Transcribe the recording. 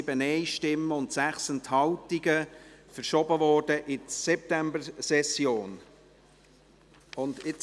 Das Traktandum 84 wurde mit 129 Ja- bei 7 Nein-Stimmen und 6 Enthaltungen in die Septembersession verschoben.